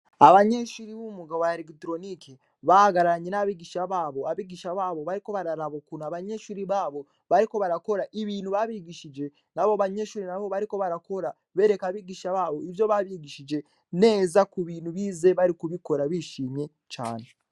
Abanyeshure bo mu mwuga wa eregitoronike bahagaranye n'abagisha babo, abigisha babo bariko baraba ukuntu abanyeshure babo bariko barakora ibintu babigishije nabo banyeshure nabo bariko barakora bereka abigisha babo ivyo babigishije neza kubintu bize bari kubikora bishimye cane.